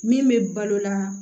Min bɛ balola